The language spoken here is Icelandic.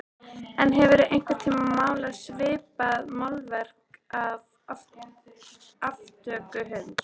En hefurðu einhvern tíma málað svipað málverk af aftöku hunds?